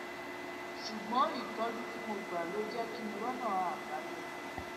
ṣùgbón ìtójú tí mò ń gbà ló jé kí n rọnà àbáyọ